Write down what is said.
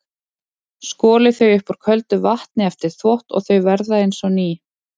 Skolið þau upp úr köldu vatni eftir þvott og þau verða eins og ný.